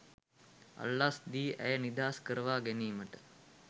අල්ලස් දී ඇය නිදහස් කරවාගැනීමට